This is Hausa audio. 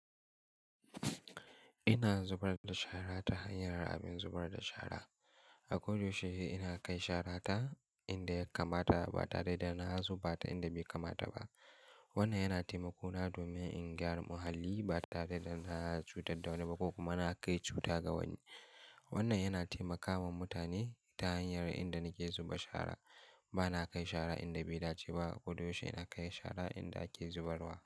Ina zubar da shara ta hanyar abin zubar da shara. A kodayaushe ina kai shara ta inda ya kamata ba tare da na zuba ta inda bai kamata ba. Wannan yana taimako na domin in gyara muhalli ba tare da na cutar da wani ba ko kuma na kai cuta ga wani. Wannan yana taimakawa mutane ta hanyar inda nake zuba shara. Ba na kai shara inda bai dace ba. A ko da yaushe ina kai shara inda ake zubarwa.